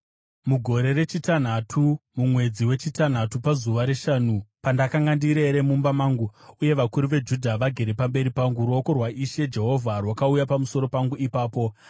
Mugore rechitanhatu, mumwedzi wechitanhatu pazuva reshanu, pandakanga ndirere mumba mangu uye vakuru veJudha vagere pamberi pangu, ruoko rwaIshe Jehovha rwakauya pamusoro pangu ipapo.